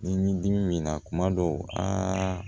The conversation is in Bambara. Ni dimi b'i na kuma dɔw